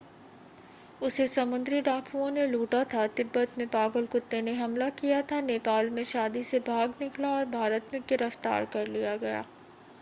उसे समुद्री डाकुओं ने लूटा था तिब्बत में पागल कुत्ते ने हमला किया नेपाल में शादी से भाग निकला और भारत में गिरफ्तार कर लिया गया